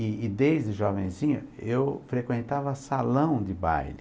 E e desde jovenzinho eu frequentava salão de baile.